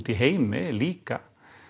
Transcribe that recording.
í heimi líka